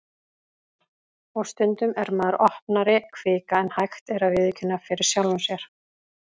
Og stundum er maður opnari kvika en hægt er að viðurkenna fyrir sjálfum sér.